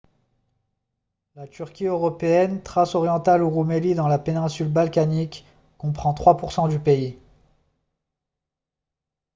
la turquie européenne thrace orientale ou roumélie dans la péninsule balkanique comprend 3 % du pays